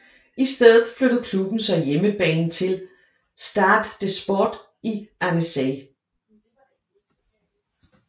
I stedet flyttede klubben så hjemmebane til Stade des Sports i Annecy